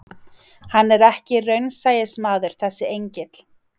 Hann er ekki raunsæismaður þessi engill.